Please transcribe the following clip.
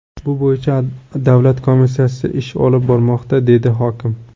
Bu bo‘yicha davlat komissiyasi ish olib bormoqda”, dedi hokim.